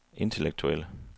intellektuelle